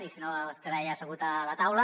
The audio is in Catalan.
i si no estarà allà assegut a la taula